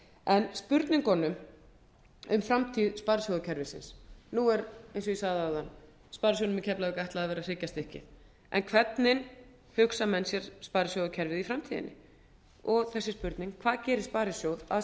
en spurningunum um framtíð sparisjóðakerfisins nú er eins og ég sagði áðan sparisjóðnum í keflavík ætlað að vera hryggjarstykki en hvernig hugsa menn sér sparisjóðakerfið í framtíðinni og þessi spurning hvað gerir sparisjóð að sparisjóði